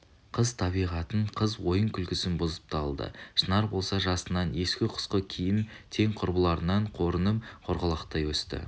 қыз табиғатың қыз ойын-күлкісін бұзып та алды шынар болса жасынан ескі-құсқы киіп тең құрбыларынан қорынып қорғалақтай өсті